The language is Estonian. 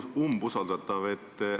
Hea umbusaldatav!